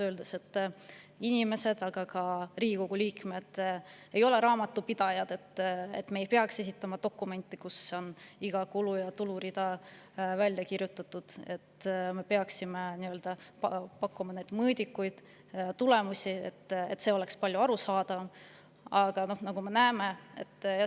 Räägiti, et inimesed, Riigikogu liikmed, ei ole raamatupidajad ja ei peaks esitama dokumente, kus iga kulu‑ ja tulurida on välja kirjutatud, vaid pakkuma mõõdikuid ja tulemusi, mis oleksid palju arusaadavamad.